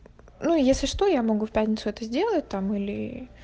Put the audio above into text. ну если что я могу в пятницу это сделать там или